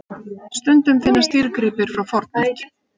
Stundum finnast dýrgripir frá fornöld.